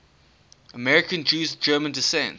american jews of german descent